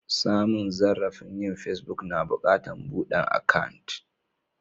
Samun zarrafi yin pesbuk, na bukatan budan akan'.